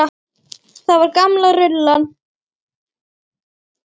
Það var gamla rullan.